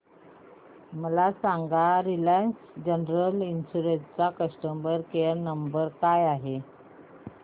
मला हे सांग रिलायन्स जनरल इन्शुरंस चा कस्टमर केअर क्रमांक काय आहे